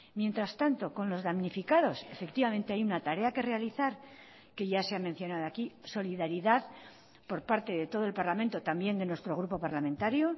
mientras tanto con los damnificados efectivamente hay una tarea que realizar que ya se ha mencionado aquí solidaridad por parte de todo el parlamento también de nuestro grupo parlamentario